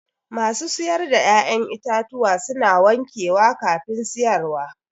Masu siyar da ƴa'ƴan itatuwa suna wankewa kafin siyarwa